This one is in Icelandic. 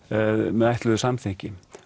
með ætluðu samþykki